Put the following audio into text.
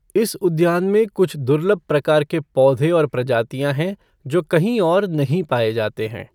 इस उद्यान में कुछ दुर्लभ प्रकार के पौधे और प्रजातियाँ हैं जो कहीं और नहीं पाए जाते हैं।